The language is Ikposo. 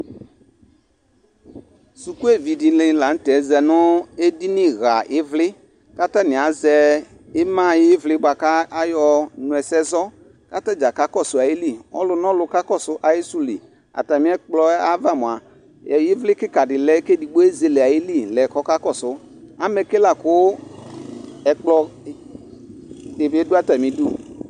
Suku evi di ni la nʋ tɛ za nʋ edini ɣa ivli kʋ atani azɛ ima ayivli boa kʋ ayɔnʋ ɛsɛ zɔ kʋ atadza kakɔsʋ ayili, ɔlʋnɔlʋ kakɔsʋ ayisʋ li Atami ɛkplɔ ɛ ayava moa, ivli kika di lɛ kʋ ɛdigbo ezele ayili lɛ kʋ ɔkakɔsʋ Amɛke la kʋ ɛkplɔ di bi dʋ atami idu